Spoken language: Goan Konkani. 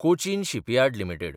Cochin shipyard limited